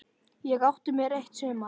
Ég átti mér eitt sumar.